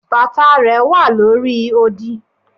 bàtà rẹ wa lórí òdì